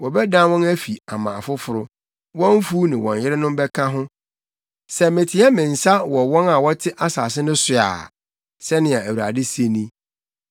Wɔbɛdan wɔn afi ama afoforo, wɔn mfuw ne wɔn yerenom bɛka ho; sɛ meteɛ me nsa wɔ wɔn a wɔte asase no so a,” sɛnea Awurade se ni.